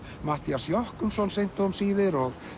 Matthías Jochumsson seint og um síðir og